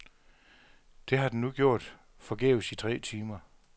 Det har den nu gjort forgæves i tre timer.